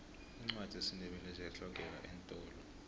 iincwadi zesindebele ziyahlogeka eentolo